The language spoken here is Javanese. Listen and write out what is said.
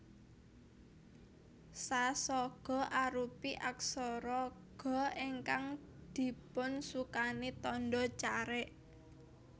Sa saga arupi aksara Ga ingkang dipunsukani tandha carik